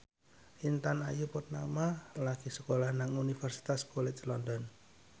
Intan Ayu Purnama lagi sekolah nang Universitas College London